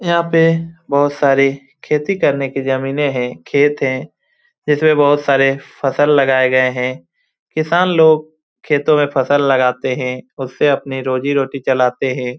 यहाँ पे बहुत सारे खेती करने के जमीने है खेत है जिसमे बहुत सारे फसल लगाए गए है किसान लोग खेतो में फसल लगाते है उससे अपनी रोजी रोटी चलाते हे ।